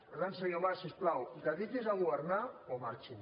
per tant senyor mas si us plau dediquin se a governar o marxin